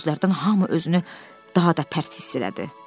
Bu sözlərdən hamı özünü daha da pərt hiss elədi.